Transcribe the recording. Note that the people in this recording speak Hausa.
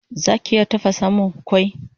Zaki iya tafasamun mun kwai?